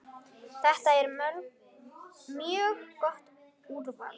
Þetta er mjög gott úrval.